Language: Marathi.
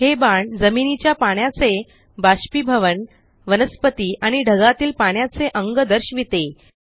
हे बाण जमिनीच्या पाण्याचे बाष्पीभवन वनस्पती आणि ढगातील पाण्याचे अंग दर्शविते